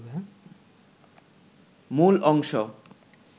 মূল অংশ